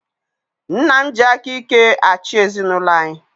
Nna m ji aka ike achị ezinaụlọ anyi